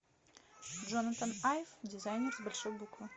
джонатан айв дизайнер с большой буквы